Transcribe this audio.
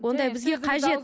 ондай бізге қажет